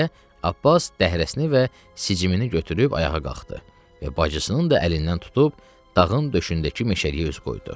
deyə Abbas dəhrəsini və sicimini götürüb ayağa qalxdı və bacısının da əlindən tutub dağın döşündəki meşəliyə üz qoydu.